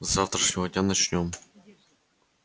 с завтрашнего дня начнём